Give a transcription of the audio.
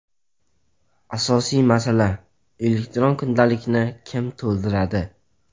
Asosiy masala: elektron kundalikni kim to‘ldiradi?